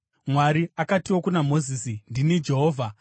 Mwari akatiwo kuna Mozisi, “Ndini Jehovha.